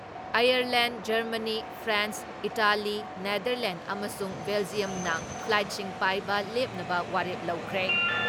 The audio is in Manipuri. Ireland, Germany, France, Italy, Netherlands ꯑꯃꯁꯨꯡ ꯕꯦꯜꯖꯤꯌꯝꯅ ꯐ꯭ꯂꯥꯏꯠꯁꯤꯡ ꯄꯥꯏꯕ ꯂꯦꯞꯅꯕ ꯋꯥꯔꯦꯞ ꯂꯧꯈ꯭ꯔꯦ ꯫